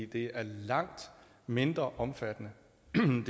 det er langt mindre omfattende